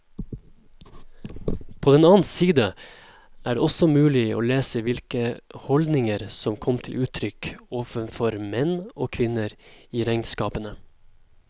På den annen side er det også mulig å lese hvilke holdninger som kom til uttrykk overfor menn og kvinner i regnskapene.